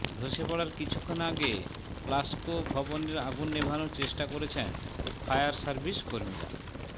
ধসে পড়ার কিছুক্ষণ আগে প্লাসকো ভবনের আগুন নেভানোর চেষ্টা করছেন ফায়ার সার্ভিস কর্মীরা